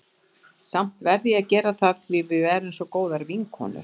Samt verð ég að gera það því að við erum svo góðar vinkonur.